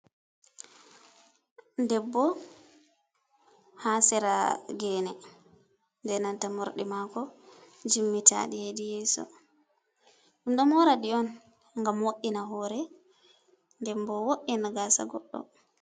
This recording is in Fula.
Debbo haa sera geene, ɓe nanta morɗi maako jimmitaaɗi hedi yeeso. Ɗum ɗo mooraɗi on ngam wo’ina hoore debbo, wo’ina gaasa goɗɗo.